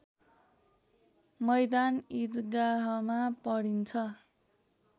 मैदान इदगाहमा पढिन्छ